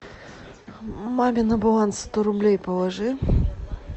маме на баланс сто рублей положи